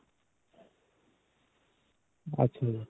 ਅੱਛਾ ਜੀ.